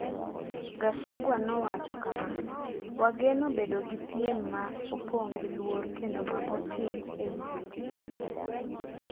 Gachagua nowacho kama: “Wageno bedo gi piem ma opong’ gi luor kendo ma otim e wi weche.”